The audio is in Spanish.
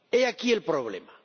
He aquí el problema.